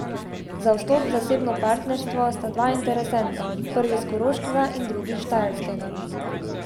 Za vstop v zasebno partnerstvo sta dva interesenta, prvi s Koroškega in drugi s Štajerskega.